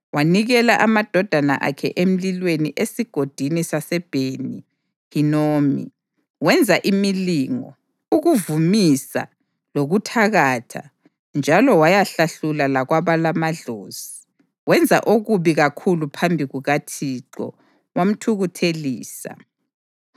Wanikela amadodana akhe emlilweni eSigodini saseBheni-Hinomu, wenza imilingo, ukuvumisa, lokuthakatha njalo wayahlahlula lakwabalamadlozi. Wenza okubi kakhulu phambi kukaThixo, wamthukuthelisa.